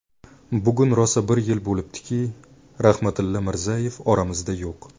Bugun rosa bir yil bo‘libdiki, Rahmatilla Mirzayev oramizda yo‘q.